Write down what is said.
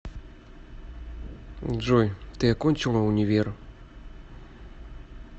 джой ты окончила универ